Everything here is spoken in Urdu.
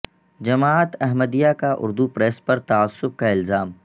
جماعت احمدیہ کا اردو پریس پر تعصب کا الزام